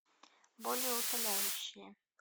болеутоляющие